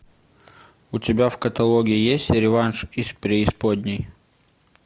у тебя в каталоге есть реванш из преисподней